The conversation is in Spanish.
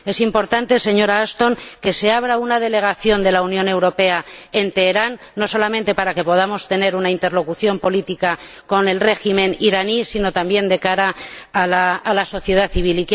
Es importante, señora Ashton, que se abra una delegación de la Unión Europea en Teherán, no solamente para que podamos tener una interlocución política con el régimen iraní, sino también de cara a la sociedad civil.